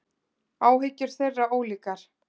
Áhyggjur þeirra ólíkar.